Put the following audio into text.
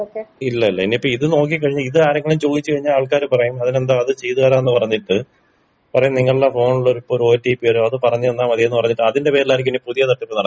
ഇല്ല ഇല്ല ഇനിപ്പൊ ഇത് നോക്കി കഴിഞ്ഞ ഇതാരെങ്കിലും ചോയ്ച്ച് കഴിഞ്ഞ ആള് ക്കാര് പറയും അതിനെന്താ അത് ചെയ്ത് തരാം ന്ന് പറഞ്ഞിട്ട് പറയും നിങ്ങൾടെ ഫോണില് ഇപ്പൊ ഒരു ഓ ട്ടി പ്പി വെരും അത് പറഞ്ഞന്നാ മതിന്ന് പറഞ്ഞിട്ട് അതിന്റെ പേരിലായിരിക്കും ഇനി പുതിയ തട്ടിപ്പ് നടക്കാൻ പോകുന്നത്.